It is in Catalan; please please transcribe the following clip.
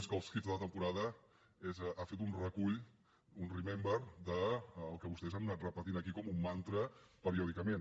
més que els hitsporada ha fet un recull un remember del que vostès han anat repetint aquí com un mantra periòdicament